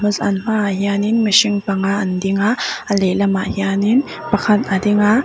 an hmaah hianin mihring panga an ding a a lehlam ah hianin pakhat a ding a.